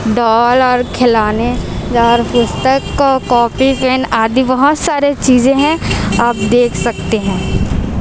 Doll और खिलौने jar पुस्तक को कॉपी पेन आदि बहुत सारे चीजे हैं आप देख सकते हैं।